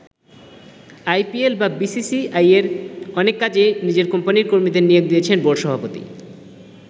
I P L বা বি সি সি আইয়ের অনেক কাজেই নিজের কোম্পানীর কর্মীদের নিয়োগ দিয়েছেন বোর্ড সভাপতি।